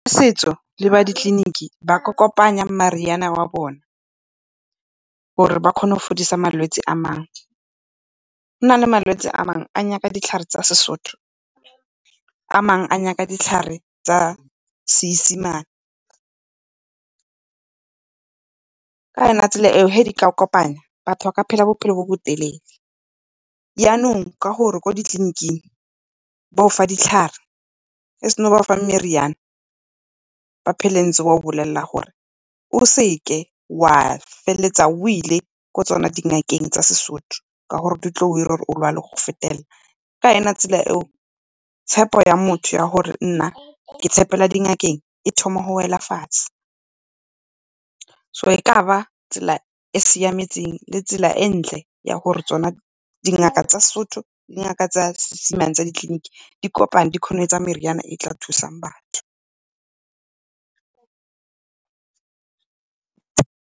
Setso le ba ditleleniki ba ka kopanya meriana ya bona gore ba kgone go fodisa malwetsi a mangwe. Gona le malwetsi a mangwe a nyaka ditlhare tsa seSotho, a mangwe a nyaka ditlhare tsa Seesemane. Ka yona tsela e o ge di ka kopana batho ba ka phela bophelo bo botelele, yanong ka gore kwa ditleleniking ba gofa ditlhare ge seno ba gofa meriane ba phele ntse a go bolelela gore. O seke wa feleletsa o ile ko tsone dingakeng tsa seSotho ka gore di tla go ira gore o lwale le go fetelela. Ka yone tsela e o tshepo ya motho ya gore nna ke tshepela dingakeng e thoma go wela fatshe. So e ka ba tsela e e siametseng le e ntle ya gore tsona dingaka tsa seSotho le tsa Seesemane tsa ditleleniki, di kopane di kgone go etsa meriane e tla thusang batho.